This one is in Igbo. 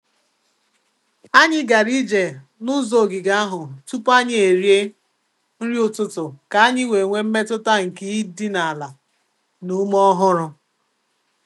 Anyị gara ije n'ụzọ ogige ahụ tupu anyị eri e nri ụtụtụ ka anyị wee nwee mmetụta nke ịdị n'ala na ume ọhụrụ.